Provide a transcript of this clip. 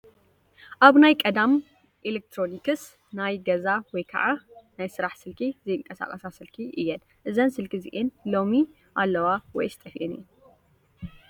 ኣብ ናይ ቀዳም ኤሌክትሮኒስ ናይ ገዛ ወይ ከዓ ናይ ስራሕ ስልኪ ኣ ዘይቃሳቀሳ ስልኪ እየን::እዘን ስልኪ እዚኣን ሎሚ ኣለዋ ውይስ ጠፊኤን እየ ?